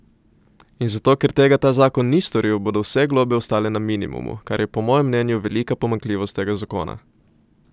In zato, ker tega ta zakon ni storil, bodo vse globe ostale na minimumu, kar je po mojem mnenju velika pomanjkljivost tega zakona.